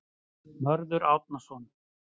Mörður Árnason.